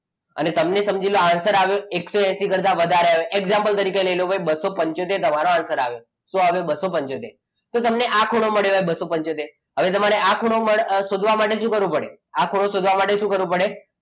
અને તમને સમજી લો answer આવી આવ્યો એકસો એસી કરતા વધારે example તરીકે લઈ લો બસો પંચોતેર તમારો answer આવ્યો શું આવ્યો બસો પંચોતેર તો તમને આ ખૂણો મળ્યો હોય બસો પંચોતેર. હવે તમારે આ ખૂણો શોધવા માટે શું કરવું પડે? તો ખૂણો શોધવા માટે શું કરવું પડે,